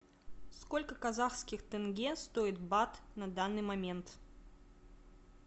сколько казахских тенге стоит бат на данный момент